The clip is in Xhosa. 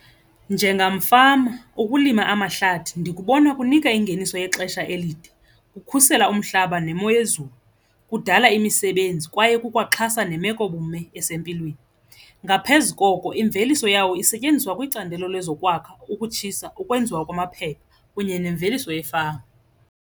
Njengamfama ukulima amahlathi ndikubona kunika ingeniso yexesha elide, kukhusela umhlaba nemo yezulu, kudala imisebenzi kwaye kukwa xhasa nemekobume esempilweni. Ngaphezu koko imveliso yawo isetyenziswa kwicandelo lezokwakha, ukutshisa ukwenziwa kwamaphepha kunye nemveliso yefama.